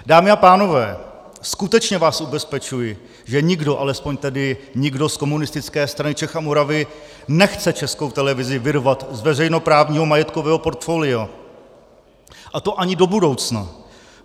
Dámy a pánové, skutečně vás ubezpečuji, že nikdo, alespoň tedy nikdo z Komunistické strany Čech a Moravy, nechce Českou televizi vyrvat z veřejnoprávního majetkového portfolia, a to ani do budoucna.